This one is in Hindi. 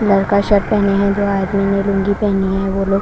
घर का शर्ट पहने हैं लुंगी पहनी जो आज पहनी है वो --